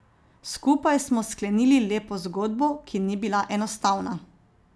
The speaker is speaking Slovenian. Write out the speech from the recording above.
Skupaj smo sklenili lepo zgodbo, ki ni bila enostavna.